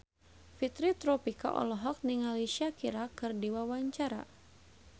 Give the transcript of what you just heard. Fitri Tropika olohok ningali Shakira keur diwawancara